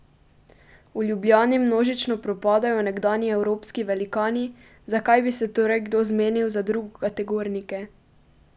V Ljubljani množično propadajo nekdanji evropski velikani, zakaj bi se torej kdo zmenil za drugokategornike?